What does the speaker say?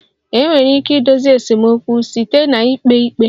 Enwere ike idozi esemokwu site na ikpe ikpe